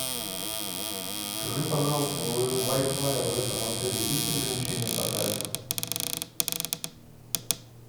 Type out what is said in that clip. скажи пожалуйста у вай фая в этом отеле есть ограничения по трафику